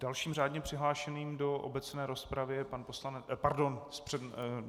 Dalším řádně přihlášeným do obecné rozpravy je pan poslanec - Pardon.